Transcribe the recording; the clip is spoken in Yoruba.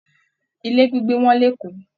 Ilé gbígbé wọ́n l'Eko.